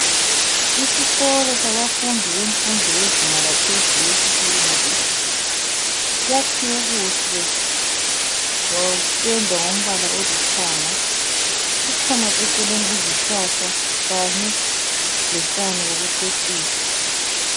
Isikolo sabafundi bemfundo yezinga laphezulu esithi yiyunivesithi. Kuyakhiwe kuhle kwapendwa ngombala olithanga, kukhona eceleni izihlahla kanye lotshani bokucecisa.